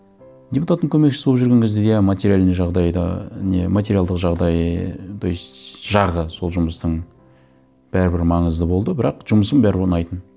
депутаттың көмекшісі болып жүрген кезде иә материальный жағдай да не материалдық жағдай ііі то есть жағы сол жұмыстың бәрібір маңызды болды бірақ жұмысым бәрібір ұнайтын